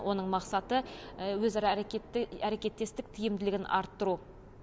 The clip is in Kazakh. оның мақсаты өзара әрекетті әрекеттестік тиімділігін арттыру